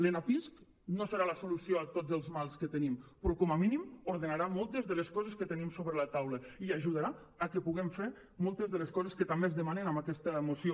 l’enapisc no serà la solució a tots els mals que tenim però com a mínim ordenarà moltes de les coses que tenim sobre la taula i ajudarà a que puguem fer moltes de les coses que també es demanen en aquesta moció